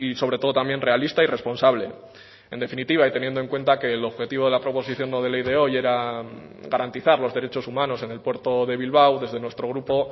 sobretodo también realista y responsable en definitiva y teniendo en cuenta que el objetivo de la proposición no de ley de hoy era garantizar los derechos humanos en el puerto de bilbao desde nuestro grupo